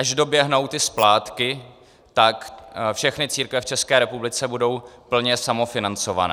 Až doběhnou ty splátky, tak všechny církve v České republice budou plně samofinancované.